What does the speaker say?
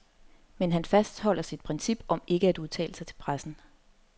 Men han fastholder sit princip om ikke at udtale sig til pressen.